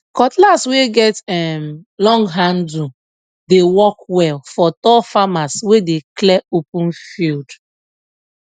cutlass wey get um long handle dey work well for tall farmers wey dey clear open field